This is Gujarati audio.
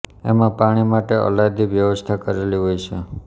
એમાં પાણી માટે અલાયદી વ્યવસ્થા કરેલી હોય છે